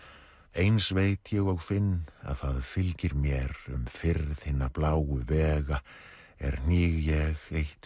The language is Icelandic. eins veit ég og finn að það fylgir mér um firð hinna bláu vega er hníg ég eitt